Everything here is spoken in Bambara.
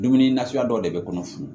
Dumuni nafuya dɔw de bɛ kɔnɔ fu